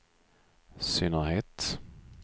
synnerhet